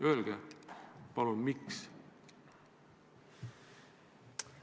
Öelge palun, miks te nõus olete!